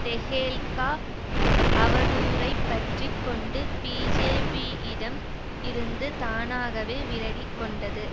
டெஹேல்கா அவதூறைப் பற்றி கொண்டு பீஜேபியிடம் இருந்து தானாகவே விலகி கொண்டது